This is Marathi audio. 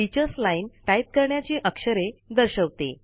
टीचर्स लाईन टाईप करण्याची अक्षरे दर्शवते